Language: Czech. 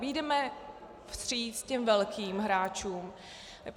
Vyjdeme vstříc těm velkým hráčům.